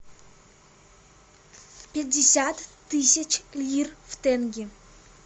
пятьдесят тысяч лир в тенге